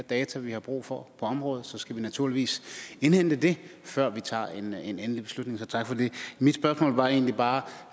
data vi har brug for på området så skal vi naturligvis indhente det før vi tager en endelig beslutning så tak for det mit spørgsmål var egentlig bare